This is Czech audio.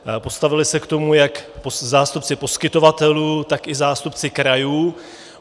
Postavili se k tomu jak zástupci poskytovatelů, tak i zástupci krajů.